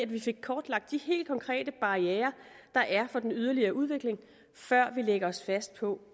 vi fik kortlagt de helt konkrete barrierer der er for den yderligere udvikling før vi lægger os fast på